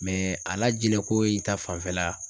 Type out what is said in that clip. a lajinɛn ko in ta fanfɛla.